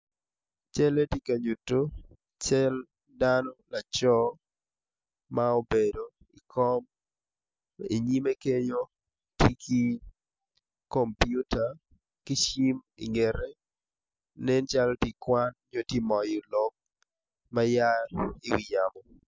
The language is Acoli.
Cale tye kanyutu cal dano laco ma obedo ikom inyime kenyo tye ki komputa ki cim ingete nen calo tye ikwan nyo tye ka moyo lok ma aa ki iwi yamo